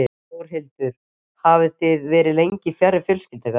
Þórhildur: Hvað hafið þið verið lengi fjarri fjölskyldu ykkar?